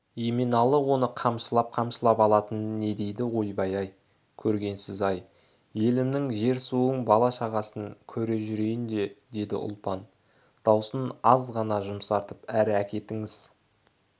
еменалы оны қамшылап-қамшылап алатын не дейді ойбай-ай көргенсізін-ай елімнің жер-суың бала-шағасын көре жүрейін де деді ұлпан даусын аз ғана жұмсартып әрі әкетіңіз е